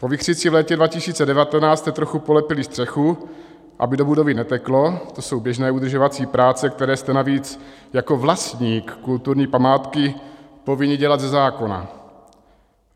Po vichřici v létě 2019 jste trochu polepili střechu, aby do budovy neteklo, to jsou běžné udržovací práce, které jste navíc jako vlastník kulturní památky povinni dělat ze zákona.